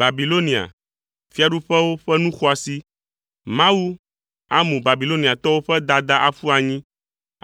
Babilonia, fiaɖuƒewo ƒe nu xɔasi, Mawu amu Babiloniatɔwo ƒe dada aƒu anyi